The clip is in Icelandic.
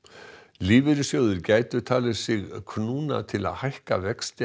lífeyrissjóðir gætu talið sig knúna til að hækka vexti